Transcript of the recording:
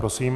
Prosím.